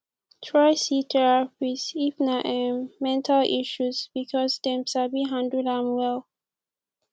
try see therapist if na um mental issues because dem sabi handle am well